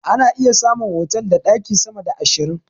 Ana iya samun otal da ɗaki sama da ashirin.